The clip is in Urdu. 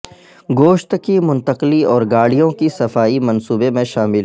گوشت کی منتقلی اور گاڑیوں کی صفائی منصوبے میں شامل